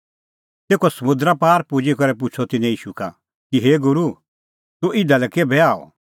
तेखअ समुंदरा पार पुजी करै पुछ़अ तिन्नैं ईशू का कि हे गूरू तूह इधा लै केभै आअ